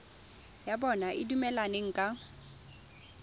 ya bona e dumelaneng ka